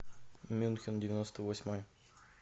мюнхен девяносто восьмой